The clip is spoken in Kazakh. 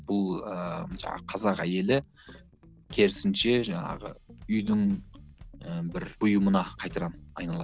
бұл ыыы жаңағы қазақ әйелі керісінше жаңағы үйдің ііі бір бұйымына қайтадан айналады